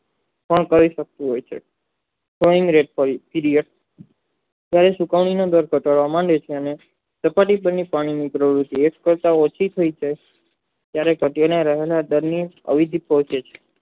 કહી શકતું હોય છે કણ સુકાવાની માંડે છે ને ટુકડી તેનું કાયમિક રહ્યું છે એક પટ પ્રતિશીલ છે ત્યારે સભ્યના રહેલા અવિજિત